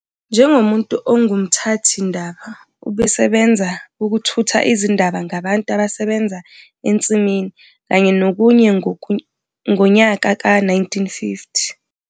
Njengomuntu ongumthathi ndaba ubesebenza ukuthutha izindaba ngabantu abasebenza ensimini kanye nokunye ngonyaka ka 1950.